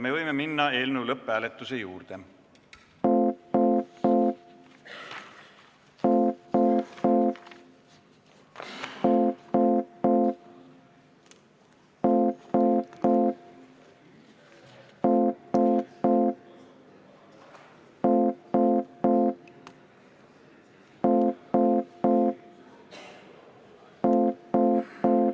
Me võime minna eelnõu lõpphääletuse juurde.